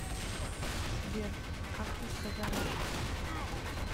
сбер как вы сказали